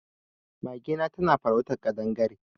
Magena na farautar kaɗangare.